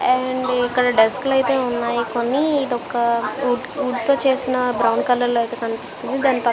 And ఇక్కడ desk లు అయితే ఉన్నాయ్. కొన్ని ఇదొక వుడ్ తో చేసిన బ్రౌన్ కలర్ లో అయితే కనిపిస్తుంది.